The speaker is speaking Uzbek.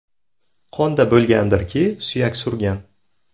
Qonda bo‘lgandirki, suyak surgan.